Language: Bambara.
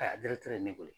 A ye ne wele